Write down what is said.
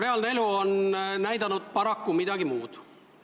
Reaalne elu on näidanud paraku midagi muud.